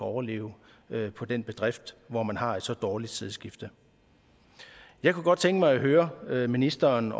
overleve på den bedrift hvor man har et så dårligt sædskifte jeg kunne godt tænke mig høre ministeren